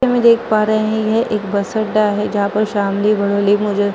हम ये देख पा रहे है यह एक बस अड्डा है जहाँ पर श्यामली बदुली मुजर --